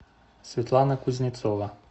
светлана кузнецова